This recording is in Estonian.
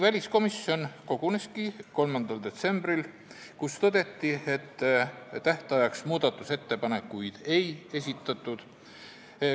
Väliskomisjon koguneski 3. detsembril, kui tõdeti, et tähtajaks muudatusettepanekuid ei esitatud.